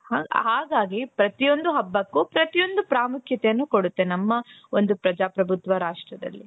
ಹಾಗಾಗಿ ಪ್ರತಿಯೊಂದು ಹಬ್ಬಕ್ಕೂ ಪ್ರತಿಯೊಂದು ಪ್ರಾಮುಖ್ಯತೆಯನ್ನ ಕೊಡುತ್ತೆ ನಮ್ಮ ಒಂದು ಪ್ರಜಾಪ್ರಭುತ್ವ ರಾಷ್ಟ್ರದಲ್ಲಿ.